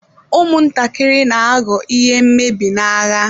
Ụmụntakịrị na-aghọ ihe mmebi n'agha